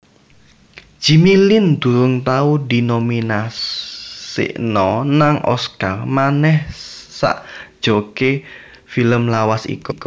Jimmy Lin durung tau dinominasino nang Oscar maneh sakjoke film lawas iko